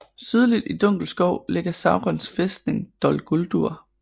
Sydligt i Dunkelskov ligger Saurons fæstning Dol Guldur